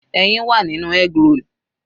Ẹyin wà nínú eggroll.